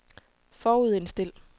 forudindstil